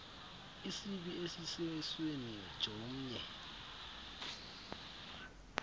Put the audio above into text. isibi esisesweni jomnye